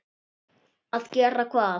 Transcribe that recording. Að gera hvað?